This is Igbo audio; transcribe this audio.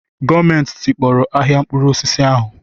Gọọmenti tikpọrọ ahịa mkpụrụ osisi ahu